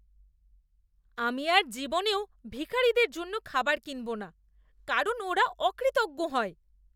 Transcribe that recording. আমি আর জীবনেও ভিখিরিদের জন্য খাবার কিনব না, কারণ ওরা অকৃতজ্ঞ হয়।